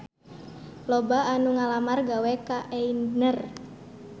Loba anu ngalamar gawe ka Aigner